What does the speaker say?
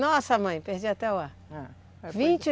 Nossa mãe, perdi até o ar.